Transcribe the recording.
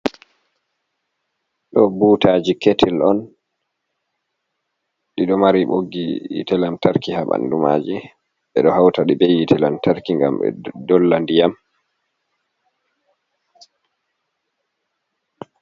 Do butaji ketil on ɗiɗo mari boggi hite lantarki ha ɓandumaji be do hauta ɗi ɓe hite lantarki ngam be dolla ndiyam.